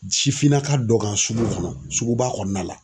Sifinnaka dɔ kan sugu kɔnɔ suguba kɔnɔna la